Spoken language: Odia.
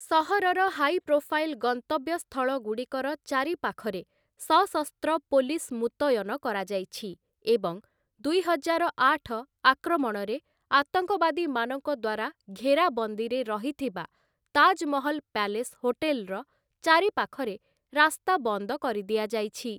ସହରର ହାଇପ୍ରୋଫାଇଲ୍ ଗନ୍ତବ୍ୟସ୍ଥଳଗୁଡ଼ିକର ଚାରିପାଖରେ ସଶସ୍ତ୍ର ପୋଲିସ୍ ମୁତୟନ କରାଯାଇଛି ଏବଂ ଦୁଇ ହଜାର ଆଠ ଆକ୍ରମଣରେ ଆତଙ୍କବାଦୀମାନଙ୍କ ଦ୍ୱାରା ଘେରାବନ୍ଦୀରେ ରହିଥିବା ତାଜ୍‌ମହଲ ପ୍ୟାଲେସ୍ ହୋଟେଲ୍‌ର ଚାରିପାଖରେ ରାସ୍ତା ବନ୍ଦ କରିଦିଆଯାଇଛି ।